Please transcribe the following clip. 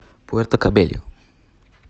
пуэрто кабельо